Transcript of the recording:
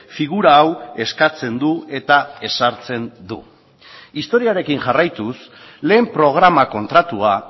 figura hau eskatzen du eta ezartzen du historiarekin jarraituz lehen programa kontratua